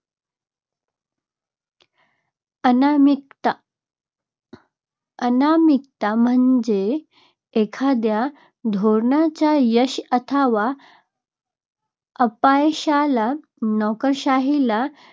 अनामिकता. अनामिकता म्हणजे एखादया धोरणाच्या यश अथवा अपयशाला नोकरशाहीला